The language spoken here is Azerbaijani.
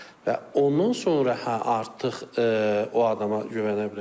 Və ondan sonra hə artıq o adama güvənə bilərsiz.